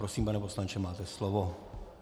Prosím, pane poslanče, máte slovo.